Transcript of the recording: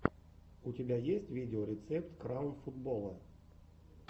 у тебя есть видеорецепт краун футбола